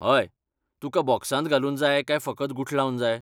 हय, तुका बॉक्सांत घालून जाय काय फकत गुठलावन जाय?